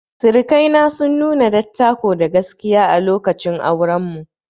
Sirikai na sun nuna dattako da gaskiya a lokacin auren mu.